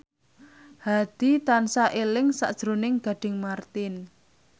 Hadi tansah eling sakjroning Gading Marten